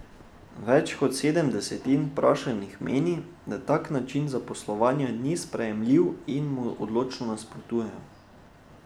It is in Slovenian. Več kot sedem desetin vprašanih meni, da tak način zaposlovanja ni sprejemljiv in mu odločno nasprotujejo.